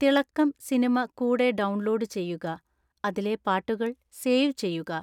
തിളക്കം സിനിമ കൂടെ ഡൗൺലോഡ് ചെയുക അതിലെ പാട്ടുകൾ സേവ് ചെയ്യുക